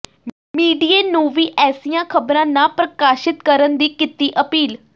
ਮੀਡੀਏ ਨੂੰ ਵੀ ਐਸੀਆਂ ਖਬਰਾਂ ਨਾ ਪ੍ਰਕਾਸ਼ਿਤ ਕਰਨ ਦੀ ਕੀਤੀ ਅਪੀਲ